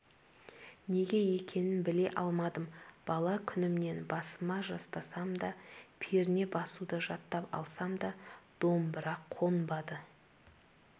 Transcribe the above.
неге екенін біле алмадым бала күнімнен басыма жастасам да перне басуды жаттап алсам да домбыра қонбады